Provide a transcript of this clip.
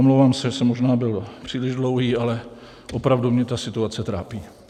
Omlouvám se, že jsem možná byl příliš dlouhý, ale opravdu mě ta situace trápí.